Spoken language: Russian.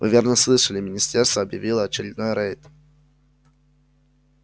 вы верно слышали министерство объявило очередной рейд